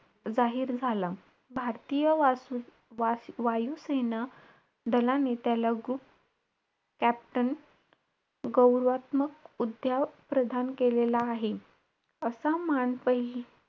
जाहीर झाला. भारतीय वासू~ वा~ वायू सेना दलाने त्याला गु~ captain गौरवात्मक उद्या~ प्रधान केलेला आहे. असा मान प,